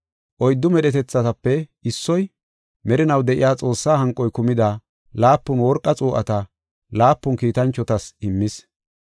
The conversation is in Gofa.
Oyddu medhetethatape issoy, merinaw de7iya Xoossaa hanqoy kumida laapun worqa xuu7ata laapun kiitanchotas immis.